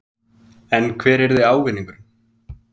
En hver yrði ávinningurinn?